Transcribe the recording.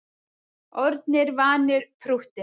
Orðnir vanir prúttinu